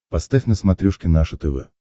поставь на смотрешке наше тв